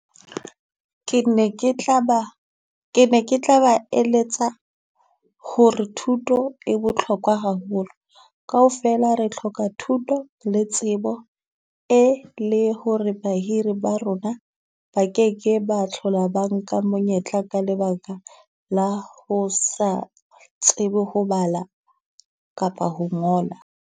Ke ne ke tla ba ke ne ke tla ba eletsa ho re thuto e bohlokwa haholo. Kaofela re hloka thuto le tsebo e le ho re bahiri ba rona ba keke ba tlhola ba nka monyetla ka lebaka la ho sa tsebe ho bala kapa ho ngola.